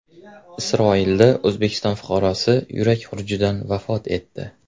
Isroilda O‘zbekiston fuqarosi yurak xurujidan vafot etdi.